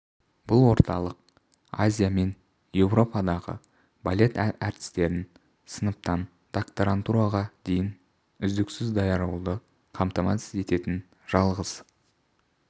бұл орталық азия мен еуропадағы балет әртістерін сыныптан докторантураға дейін үздіксіз даярлауды қамтамасыз ететін жалғыз